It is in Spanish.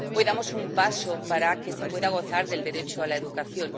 Hoy damos un paso para que se pueda gozar del derecho a la educación.